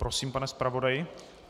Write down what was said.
Prosím, pane zpravodaji.